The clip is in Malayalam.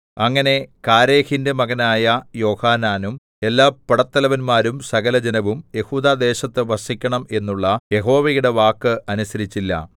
അങ്ങനെ കാരേഹിന്റെ മകനായ യോഹാനാനും എല്ലാ പടത്തലവന്മാരും സകലജനവും യെഹൂദാദേശത്തു വസിക്കണം എന്നുള്ള യഹോവയുടെ വാക്ക് അനുസരിച്ചില്ല